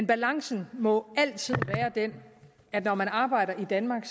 balancen må altid være den at når man arbejder i danmark